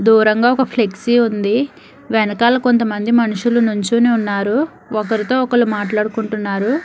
దూరంగా ఒక ఫ్లెక్సీ ఉంది వెనకాల కొంతమంది మనుషులు నుంచునే ఉన్నారు ఒకరితో ఒకరు మాట్లాడుకుంటున్నారు.